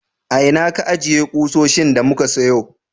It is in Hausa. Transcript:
A ina ka ajiye kusoshin da muka sayo?